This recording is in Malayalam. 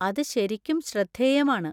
അത് ശരിക്കും ശ്രദ്ധേയമാണ്.